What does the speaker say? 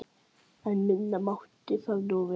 En minna mátti það nú vera.